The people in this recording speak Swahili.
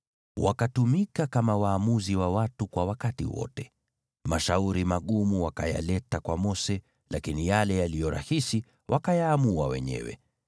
Wakatumika kama waamuzi wa watu kwa wakati wote. Mashauri magumu wakayaleta kwa Mose, lakini yale yaliyo rahisi wakayaamua wenyewe.